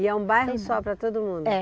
E é um bairro só para todo mundo? É